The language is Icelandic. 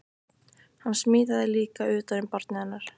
Hann smíðaði líka utan um barnið hennar